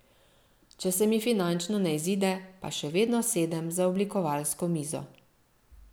Če se mi finančno ne izide, pa še vedno sedem za oblikovalsko mizo.